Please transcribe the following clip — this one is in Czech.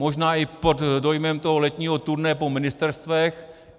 Možná i pod dojmem toho letního turné po ministerstvech.